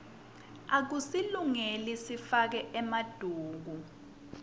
akusasilungeli sifake emaduku